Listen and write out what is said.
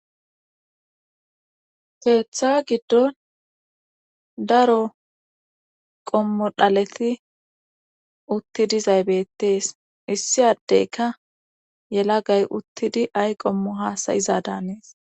Keeththa giddon daro qommo dhaleti utti dizay beetees. issi addekka yelagay uttidi ay qommo hasayiza daanees.